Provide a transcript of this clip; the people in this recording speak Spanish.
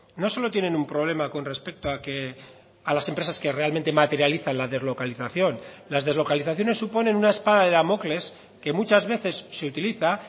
no solo tienen un problema con respecto a que a las empresas que realmente materializan la deslocalización las deslocalizaciones suponen una espada de damocles que muchas veces se utiliza